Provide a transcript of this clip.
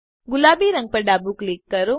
ગુલાબી રંગ પર ડાબું ક્લિક કરો